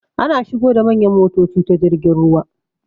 Ana shigo da manyan motoci ta jirgin ruwa.